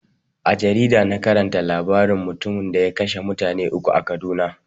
A jarida na karanta labaran mutumin da ya kashe mutane uku a kaduna.